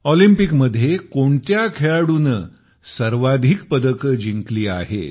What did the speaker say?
ऑलिम्पिकमध्ये कोणत्या खेळाडूने सर्वाधिक पदके जिंकली आहेत